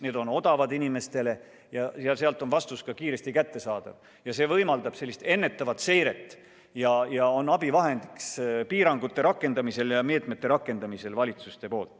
Need on inimestele odavad ja vastus on kiiresti kättesaadav, need võimaldavad ennetavat seiret ja on valitsustele abivahendiks piirangute ja meetmete rakendamisel.